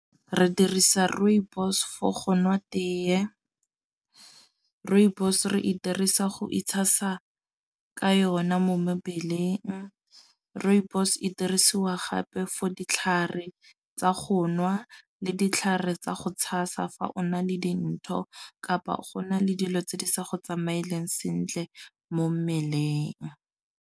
Re dirisa rooibos for go nwa tee. Rooibos re e dirisa go itshasa ka yona mo mebeleng. Rooibos e dirisiwa gape fo ditlhare tsa go nwa le ditlhare tsa go tshasa fa o na le dintho, kapa go na le dilo tse di sa go tsamaeleng sentle mo mmeleng.